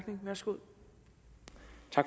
være to